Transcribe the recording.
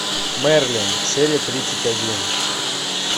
мерлин серия тридцать один